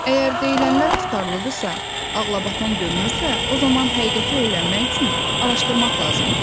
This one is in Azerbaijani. Əgər deyilənlər tutarlıdırsa, ağlabatan görünürsə, o zaman həqiqəti öyrənmək üçün araşdırmaq lazımdır.